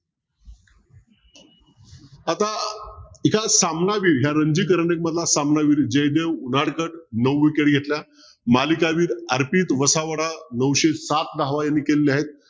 आता एका सामना वेळी या रणजित सामना जयदेव उराडकर नऊ विकेट घेतल्या. मालिकावीर अर्पित वसावडा नऊशे सात धावा यांनी केल्या आहेत.